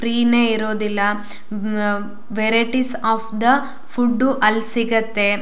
ಫ್ರೀನೆ ಇರೋದಿಲ್ಲಾ uh varieties of the food ಅಲ್ಲಿ ಸಿಗುತ್ತೆ.